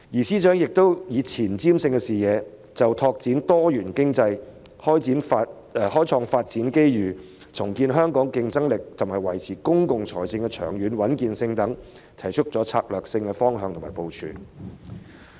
司長亦以前瞻性的視野，就發展多元經濟、開創發展機遇、重建香港競爭力，以及維持公共財政的長遠穩健性等事宜，提出策略性的方向和部署。